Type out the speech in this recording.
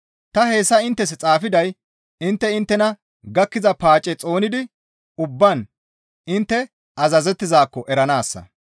Ta hayssa inttes xaafiday intte inttena gakkiza paace xoonidi ubbaan intte azazettizaakko eranaassa.